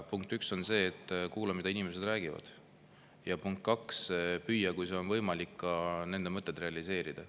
Punkt üks on see, et kuula, mida inimesed räägivad, ja punkt kaks: püüa, kui see on võimalik, ka nende mõtteid realiseerida.